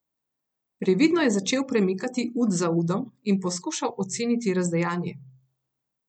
Previdno je začel premikati ud za udom in poskušal oceniti razdejanje.